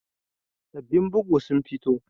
Sabbin bugu sun fito